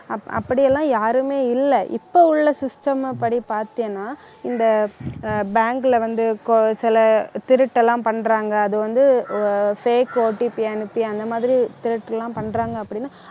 அப்~ அப்படி எல்லாம் யாருமே இல்லை இப்ப உள்ள system ஐ படி பார்த்தீங்கன்னா இந்த ஆஹ் bank ல வந்து கொ~ சில திருட்டு எல்லாம் பண்றாங்க அது வந்து fakeOTP அனுப்பி அந்த மாதிரி திருட்டு எல்லாம் பண்றாங்க அப்படின்னா